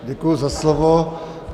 Děkuji za slovo.